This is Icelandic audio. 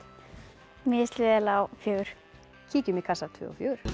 mér líst vel á fjórða kíkjum í kassa tvö og fjórða